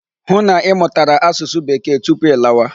Hụ na ị mụtara asụsụ Bekee tupu ị lawa!